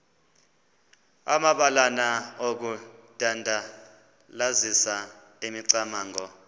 amabalana okudandalazisa imicamango